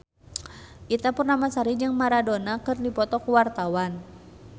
Ita Purnamasari jeung Maradona keur dipoto ku wartawan